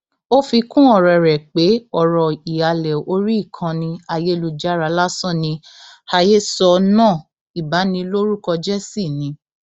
ó fi kún ọrọ rẹ pé ọrọ ìhàlẹ orí ìkànnì ayélujára lásán ni àhesọ náà ìbanilórúkọjẹ sì ni